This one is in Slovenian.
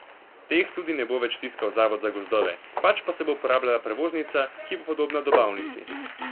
Teh tudi ne bo več tiskal zavod za gozdove, pač pa se bo uporabljala prevoznica, ki bo podobna dobavnici.